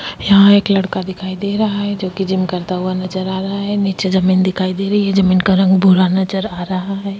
यहाँ एक लड़का दिखाई दे रहा है जोकि जिम करता हुआ नज़र आ रहा है नीचे जमीन दिखाई दे रही है जमीन का रंग भूरा नज़र आ रहा है।